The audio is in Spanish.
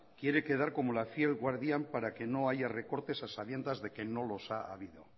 quiere quedar como la fiel guardián para que no haya recortes a sabiendas de que no los ha habido